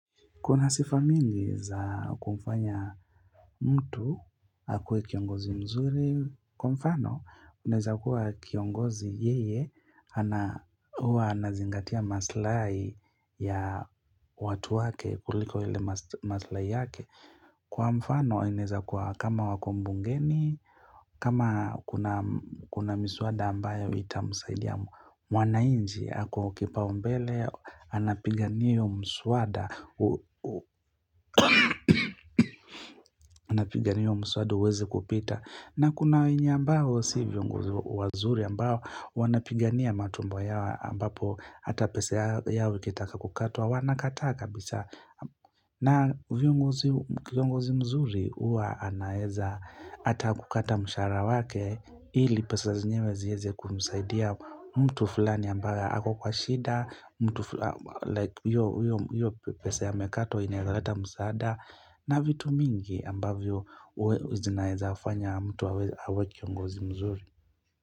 Kuna sifa mingi za kumfanya mtu, akuwe kiongozi mzuri. Kwa mfano, unaeza kuwa kiongozi yeye, huwa anazingatia maslahi ya watu wake, kuliko ile maslahi yake. Kwa mfano, inaeza kuwa kama wako bungeni, kama kuna miswada ambayo itamsaidia mwananchi, ako kipau mbele, anapigania hiyo mswada. Wanapigania huo mswada uweze kupita na kuna wenye ambao si viongozi wazuri ambao wanapigania matumbo yao ambapo ata pesa yao ikitaka kukatwa wanakataa kabisa na viongozi, kiongozi mzuri huwa anaeza ata kukata mshahara wake ili pesa zenyewe zi eze kumsaidia mtu fulani ambaye ako kwa shida mtu fulani like hiyo pesa amekatowa inaweza leta msaada na vitu mingi ambavyo zinaeza fanya mtu awe kiongozi mzuri.